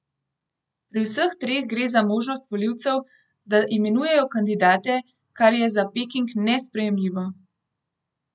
Pri vseh treh gre za možnost volivcev, da imenujejo kandidate, kar je za Peking nesprejemljivo.